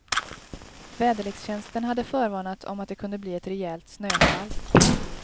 Väderlekstjänsten hade förvarnat om att det kunde bli ett rejält snöfall.